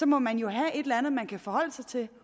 må man jo have et eller andet man kan forholde sig til